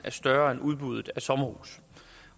større end udbuddet af sommerhuse